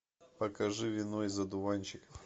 покажи вино из одуванчиков